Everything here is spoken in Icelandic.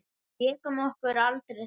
Við lékum okkur aldrei þar.